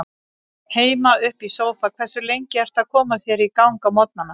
Heima upp í sófa Hversu lengi ertu að koma þér í gang á morgnanna?